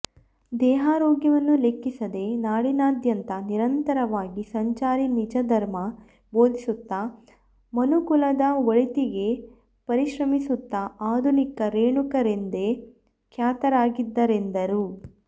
ದೇಹಾರೋಗ್ಯವನ್ನು ಲೆಕ್ಕಿಸದೆ ನಾಡಿನಾದ್ಯಂತ ನಿರಂತರವಾಗಿ ಸಂಚಾರಿ ನಿಜಧರ್ಮ ಬೋಧಿಸುತ್ತಾ ಮನುಕುಲದ ಒಳಿತಿಗೆ ಪರಿಶ್ರಮಿಸುತ್ತಾ ಆಧುನಿಕ ರೇಣುಕರೆಂದೆ ಖ್ಯಾತರಾಗಿದ್ದಾರೆಂದರು